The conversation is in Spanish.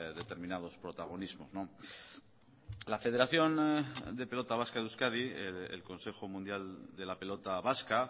determinados protagonismos la federación de pelota vasca de euskadi el consejo mundial de la pelota vasca